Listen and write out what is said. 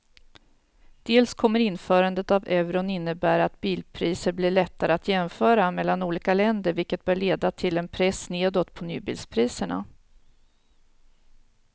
Dels kommer införandet av euron innebära att bilpriser blir lättare att jämföra mellan olika länder vilket bör leda till en press nedåt på nybilspriserna.